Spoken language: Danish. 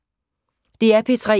DR P3